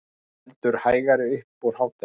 Heldur hægari upp úr hádegi